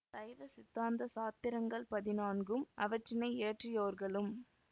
சைவ சித்தாந்த சாத்திரங்கள் பதினான்கும் அவற்றினை இயற்றியோர்களும்